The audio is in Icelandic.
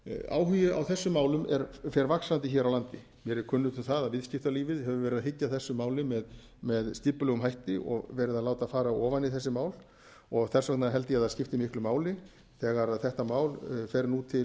áhugi á þessum málum fer vaxandi hér á landi mér er kunnugt um að viðskiptalífið hefur verið að hyggja að þessu máli með skipulegum hætti og verið að láta fara ofan í þessi mál og þess vegna held ég að það skipti miklu máli þegar þetta mál fer nú til